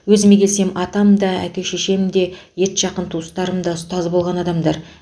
өзіме келсем атам да әке шешем де етжақын туыстарым да ұстаз болған адамдар